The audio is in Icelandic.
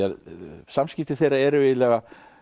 samskipti þeirra eru eiginlega